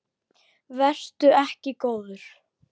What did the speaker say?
Vertu ekki góður.